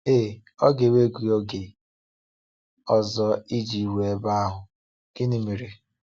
Ee, ọ ga-ewe gị oge ọzọ iji ruo ebe ahụ, gịnị mere?